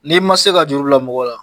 N'i ma se ka juru bila mɔgɔw la